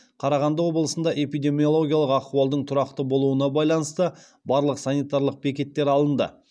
қарағанды облысында эпидемиологиялық ахуалдың тұрақты болуына байланысты барлық санитарлық бекеттер алынды